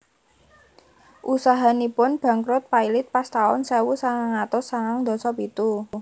Usahanipun bangkrut pailit pas taun sewu sangang atus sangang ndasa pitu